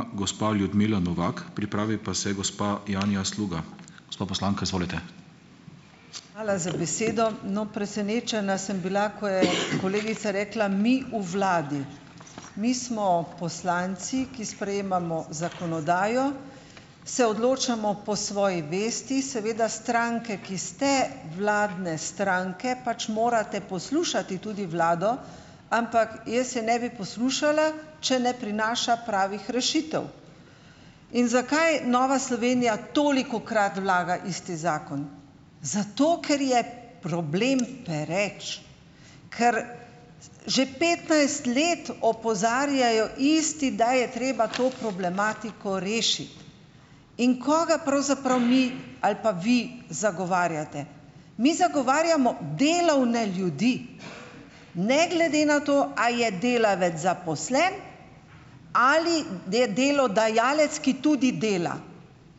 Hvala za besedo. No, presenečena sem bila, ko je kolegica rekla: "Mi v vladi, mi smo poslanci, ki sprejemamo zakonodajo, se odločamo po svoji vesti." Seveda, stranke, ki ste vladne stranke pač morate poslušati tudi vlado, ampak jaz je ne bi poslušala, če ne prinaša pravih rešitev. In zakaj Nova Slovenija tolikokrat vlaga isti zakon? Zato ker je problem pereč, ker že petnajst let opozarjajo isti, da je treba to problematiko rešiti. In kaj pravzaprav mi ali pa vi zagovarjate? Mi zagovarjamo delovne ljudi, ne glede na to, a je delavec zaposlen ali je delodajalec, ki tudi dela,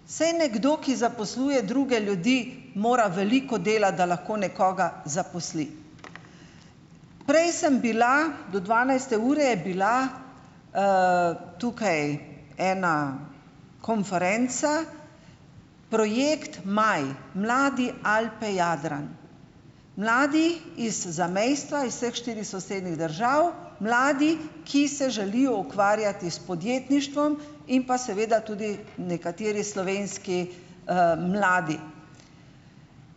saj nekdo, ki zaposluje druge ljudi, mora veliko delati, da lahko nekoga zaposli, prej sem bila do dvanajste ure je bila, tukaj ena konferenca, projekt Maj - Mladi - Alpe - Jadran, mladi iz zamejstva iz štirih sosednjih držav, mladi, ki se želijo ukvarjati s podjetništvom, in pa seveda tudi nekateri slovenski, mladi,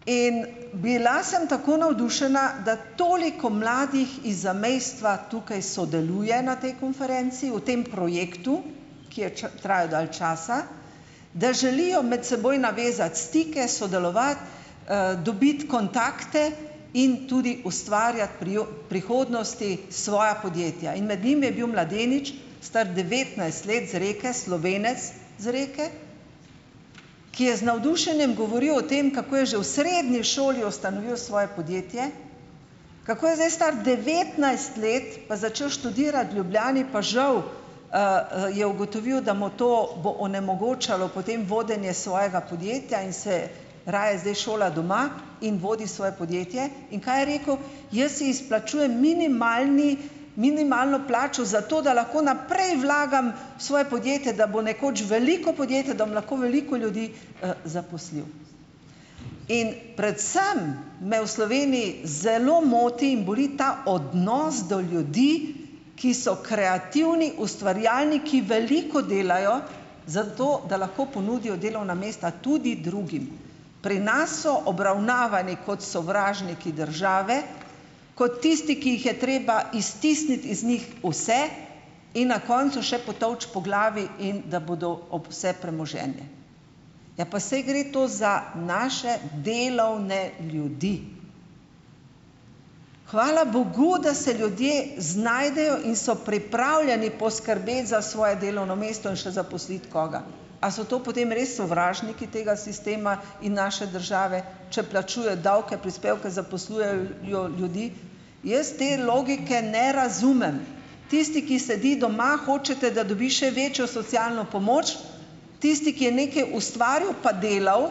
in bila sem tako navdušena, da toliko mladih iz zamejstva tukaj sodeluje na tej konferenci v tem projektu, ki je traja dalj časa, da želijo med seboj navezati stike, sodelovati, dobiti kontakte in tudi ustvarjati prihodnosti, svoja podjetja, in med njimi je bil mladenič, star devetnajst let z Reke, Slovenec z Reke, ki je z navdušenjem govoril o tem, kako je že v srednji šoli ustanovil svoje podjetje, kako je zdaj star devetnajst let pa začel študirati v Ljubljani, pa žal, je ugotovil, mu to bo onemogočalo potem vodenje svojega podjetja in se raje zdaj šola doma in vodi svoje podjetje. In kaj je rekel? Jaz si izplačujem minimalni, minimalno plačo, zato da lahko naprej vlagam v svoje podjetje, da bo nekoč veliko podjetje, da bom lahko veliko ljudi, zaposlil in predvsem me v Sloveniji zelo moti in boli ta odnos do ljudi, ki so kreativni, ustvarjalni, ki veliko delajo, zato da lahko ponudijo delovna mesta tudi drugim, pri nas so obravnavani kot sovražniki države, kot tisti, ki jih je treba iztisniti iz njih vse in na koncu še potolči po glavi in da bodo ob vse premoženje, ja, pa saj gre to za naše delovne ljudi. Hvala bogu, da se ljudje znajdejo in so pripravljeni poskrbeti za svoje delovno mesto in še zaposliti koga, a so to potem res sovražniki tega sistema in naše države, če plačuje davke, prispevke, zaposlujejo ljudi, jaz te logike ne razumem. Tisti, ki sedi doma, hočete, da dobi še večjo socialno pomoč, tisti, ki je nekaj ustvaril pa delal,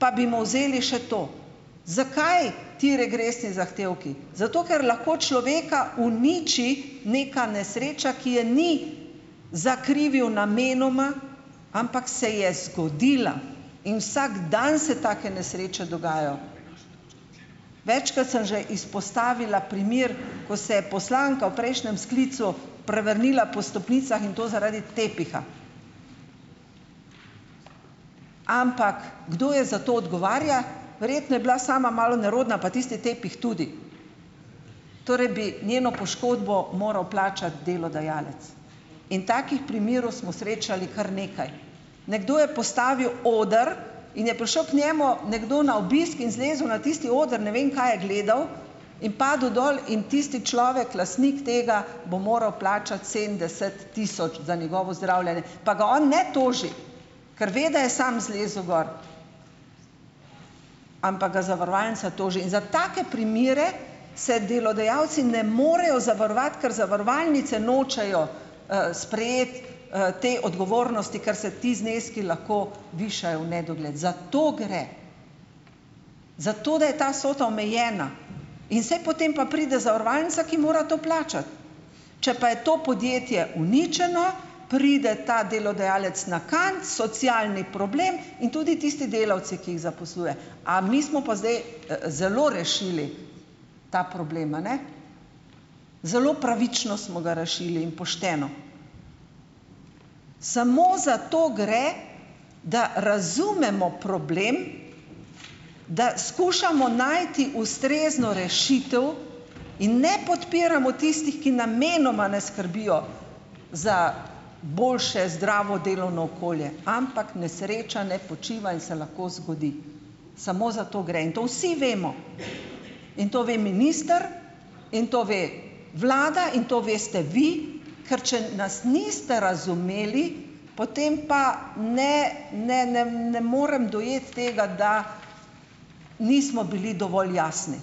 pa bi mu vzeli še to. Zakaj ti regresni zahtevki? Zato ker lahko človeka uniči neka nesreča, ki je ni zakrivil namenoma, ampak se je zgodila, in vsak dan se take nesreče dogajajo, večkrat sem že izpostavila primer, ko se je poslanka v prejšnjem sklicu prevrnila po stopnicah, in to zaradi tepiha, ampak kdo je za to odgovarja verjetno je bila sama malo nerodna pa tisti tepih tudi, torej bi njeno poškodbo moral plačati delodajalec in takih primerov smo srečali kar nekaj, nekdo je postavil oder in je prišel k njemu nekdo na obisk in zlezel na tisti oder, ne vem, kaj je gledal, in padel dol in tisti človek, lastnik tega, bo moral plačati sedemdeset tisoč za njegovo zdravljenje, pa ga on ne toži, kar ve, da je sam zlezel gor, ampak ga zavarovalnica toži, in za take primere se delodajalci ne morejo zavarovati, ker zavarovalnice nočejo, sprejeti, te odgovornosti, ker se ti zneski lahko višajo v nedogled, za to gre, za to, da je ta vsota omejena, in saj potem pa pride zavarovalnica, ki mora to plačati, če pa je to podjetje uničeno, pride ta delodajalec na kant, socialni problem, in tudi tisti delavci, ki jih zaposluje. A mi smo pa zdaj, zelo rešili ta problem, a ne? Zelo pravično smo ga rešili in pošteno, samo za to gre, da razumemo problem, da skušamo najti ustrezno rešitev in ne podpiramo tistih, ki namenoma ne skrbijo za boljše zdravo delovno okolje, ampak nesreča ne počiva in se lahko zgodi, samo zato gre, in to vsi vemo, in to ve minister, in to ve vlada in to veste vi, ker če nas niste razumeli, potem pa ne, ne, ne, ne morem dojeti tega, da nismo bili dovolj jasni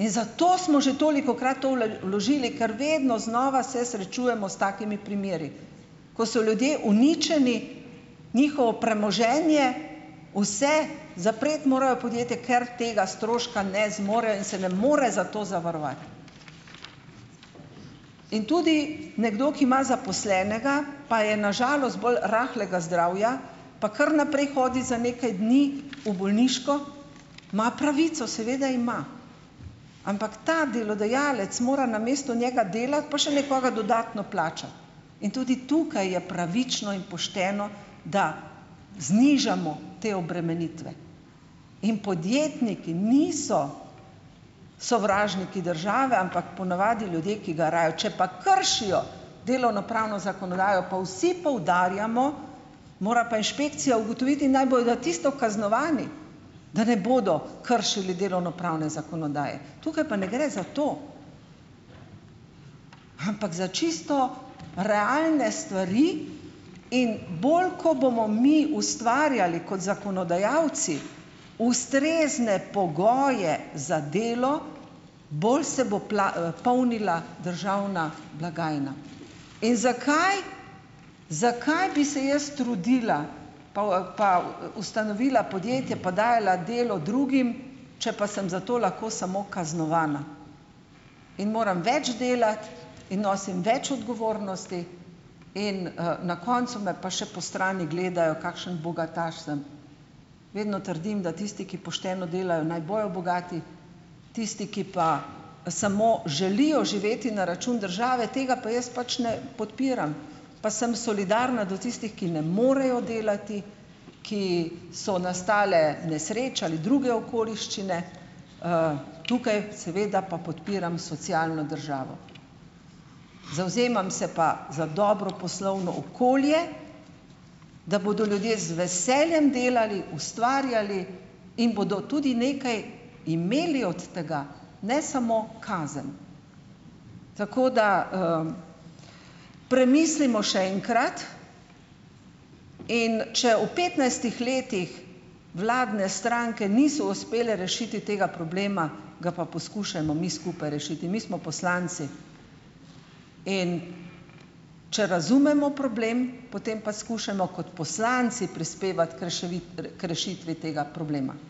in zato smo že tolikokrat to vložili, ker vedno znova se srečujemo s takimi primeri, ko so ljudje uničeni, njihovo premoženje, vse, zapreti morajo podjetje, ker tega stroška ne zmorejo in se ne more zato zavarovati, in tudi nekdo, ki ima zaposlenega, pa je na žalost bolj rahlega zdravja pa kar naprej hodi za nekaj dni v bolniško, ima pravico seveda ima, ampak ta delodajalec mora namesto njega delati pa še nekoga dodatno plačati in tudi tukaj je pravično in pošteno, da znižamo te obremenitve. In podjetniki niso sovražniki države, ampak ponavadi ljudje, ki garajo, če pa kršijo delovnopravno zakonodajo, pa vsi poudarjamo, mora pa inšpekcija ugotoviti, naj bojo za tisto kaznovani, da ne bodo kršili delovnopravne zakonodaje, tukaj pa ne gre za to, ampak za čisto realne stvari, in bolj ko bomo mi ustvarjali kot zakonodajalci ustrezne pogoje za delo, bolj se bo polnila državna blagajna in zakaj zakaj bi se jaz trudila pol, pa ustanovila podjetje pa dajala delo drugim, če pa sem zato lahko samo kaznovana, in moram več delati in nosim več odgovornosti in, na koncu me pa še po strani gledajo, kakšen bogataš sem, vedno trdim, da tisti, ki pošteno delajo, naj bojo bogati, tisti, ki pa samo želijo živeti na račun države, tega pa jaz pač ne podpiram, pa sem solidarna do tistih, ki ne morejo delati, ki so nastale nesreče ali druge okoliščine, tukaj seveda pa podpiram socialno državo, zavzemam se pa za dobro poslovno okolje, da bodo ljudje z veseljem delali, ustvarjali in bodo tudi nekaj imeli od tega, ne samo kazen, tako da, premislimo še enkrat, in če u petnajstih letih vladne stranke niso uspele rešiti tega problema, ga pa poskušajmo mi skupaj rešiti, mi smo poslanci, in če razumemo problem, potem pa skušajmo kot poslanci prispevati k k rešitvi tega problema.